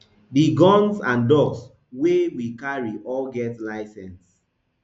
di guns and dogs wey we carry all get license